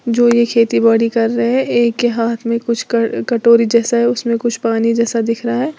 जो ये खेती बाड़ी कर रहे हैं एक के हाथ में कुछ कर कटोरी जैसा है उसमें कुछ पानी जैसा दिख रहा है।